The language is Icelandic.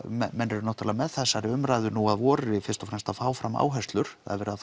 menn eru náttúrulega með þessari umræðu að nú að vori fyrst og fremst að fá fram áherslur það er verið að